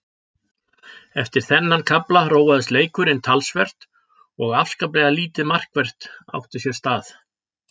Eftir þennan kafla róaðist leikurinn talsvert og afskaplega lítið markvert átti sér stað.